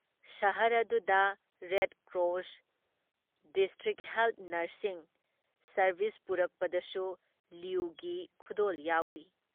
ꯁꯍꯔ ꯑꯗꯨꯗ red cross, district health nursing service ꯄꯨꯔꯛꯄꯗꯁꯨ ꯂꯨꯏꯒꯤ ꯈꯨꯗꯣꯜ ꯌꯥꯎꯔꯤ ꯫